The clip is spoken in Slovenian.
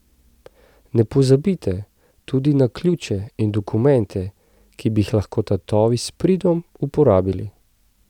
Ne pozabite tudi na ključe in dokumente, ki bi jih lahko tatovi s pridom uporabili.